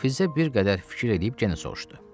Filzə bir qədər fikir eləyib yenə soruşdu.